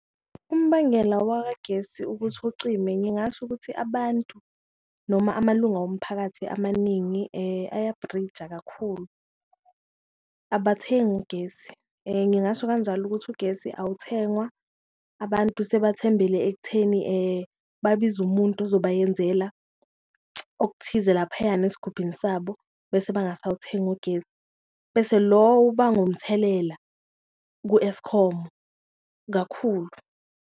Umbangela wakagesi ukuthi ucime ngingasho ukuthi abantu noma amalunga womphakathi amaningi ayabhrija kakhulu abathengi ugesi, ngingasho kanjalo ukuthi ugesi awuthengwa. Abantu sebethembele ekutheni babize umuntu ozoba yenzela okuthize laphayana esigubhini sabo bese bangasawuthengi ugesi, bese lowo ubanga umthelela ku-Eskom kakhulu.